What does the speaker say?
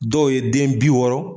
Dɔw ye den bi wɔɔrɔ.